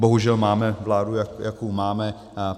Bohužel máme vládu, jakou máme.